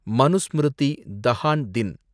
மனுஸ்மிருதி தஹான் தின்